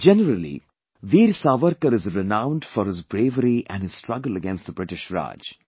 Generally Veer Savarkar is renowned for his bravery and his struggle against the British Raj